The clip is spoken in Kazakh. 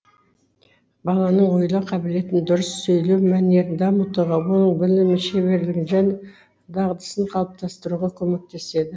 баланың ойлау қабілетін дұрыс сөйлеу мәнерін дамытуға оның білімі шеберлігін және дағдысын қалыптастыруға көмектеседі